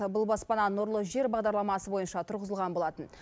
бұл баспана нұрлы жер бағдарламасы бойынша тұрғызылған болатын